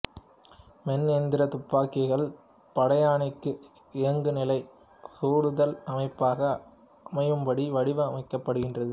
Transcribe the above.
மென் எந்திரத் துப்பாக்கிகள் படையணிக்கு இயங்குநிலைச் சுடுதல் அமைப்பாக அமையும்படி வடிவமைக்கப்படுகிறது